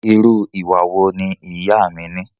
Irú ìwà wo ni ìyá a mí ní?